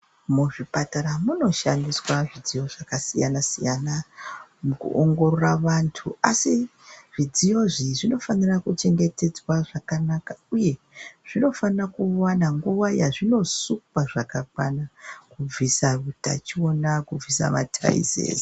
Muzvipatara munoshandiswa zvidziyo zvakasiyana-siyana mukuongorora vantu, asi zvidziyo izvi zvinofanira kuchengetedzwa zvakanaka uye zvinofana kuwana nguwa yazvinosukwa zvakakwana, kubvisa utachiona, kubvisa mataizeze.